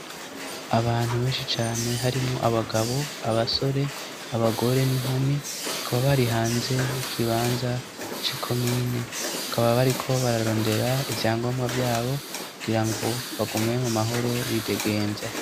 Abantu benshi cane harimwo abagabo, abasore, abagore n'inkumi, kuba bari hanze y'ikibanza c'ikomine, bakaba bariko bararondera ivyangombwa vyabo, kugira ngo bagume mu mahoro bidegemvya.